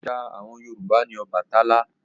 Òrìṣà àwọn Yorùbá ni Ọbàtálá.